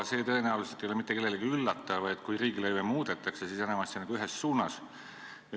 See tõenäoliselt mitte kedagi ei üllata, et kui riigilõive muudetakse, siis enamasti ühes suunas.